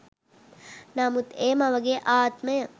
නමුත් ඒ මවගේ ආත්මය